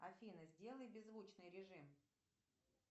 афина сделай беззвучный режим